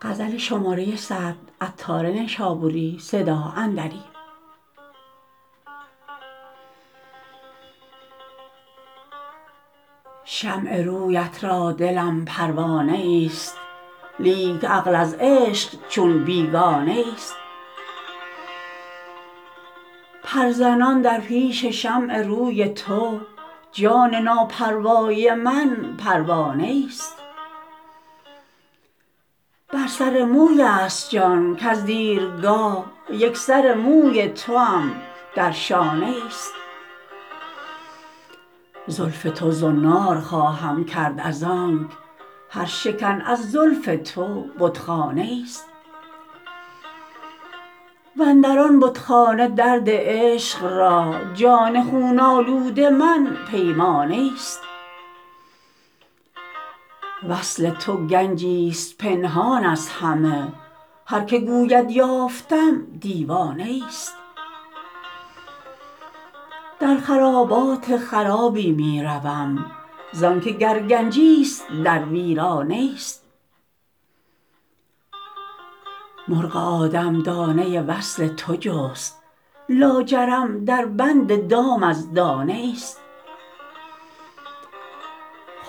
شمع رویت را دلم پروانه ای است لیک عقل از عشق چون بیگانه ای است پر زنان در پیش شمع روی تو جان ناپروای من پروانه ای است بر سر موی است جان کز دیرگاه یک سر موی توام در شانه ای است زلف تو زنار خواهم کرد از آنک هر شکن از زلف تو بتخانه ای است واندران بتخانه درد عشق را جان خون آلود من پیمانه ای است وصل تو گنجی است پنهان از همه هر که گوید یافتم دیوانه ای است در خرابات خرابی می روم زانکه گر گنجی است در ویرانه ای است مرغ آدم دانه وصل تو جست لاجرم در بند دام از دانه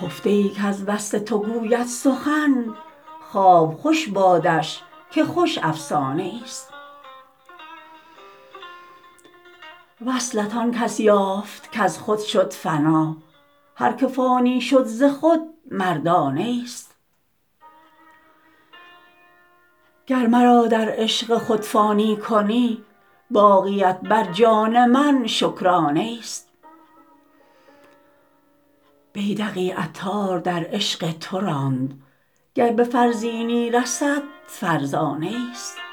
ای است خفته ای کز وصل تو گوید سخن خواب خوش بادش که خوش افسانه ای است وصلت آن کس یافت کز خود شد فنا هر که فانی شد ز خود مردانه ای است گر مرا در عشق خود فانی کنی باقیت بر جان من شکرانه ای است بیدقی عطار در عشق تو راند گر به فرزینی رسد فرزانه ای است